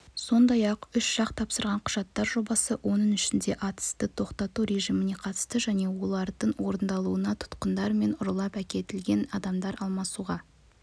сондай-ақ үш жақ тапсырған құжаттар жобасы оның ішінде атысты тоқтату режиміне қатысты және олардың орындалуына тұтқындар мен ұрлап әкетілген адамдармен алмасуға